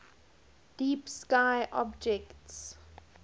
deep sky objects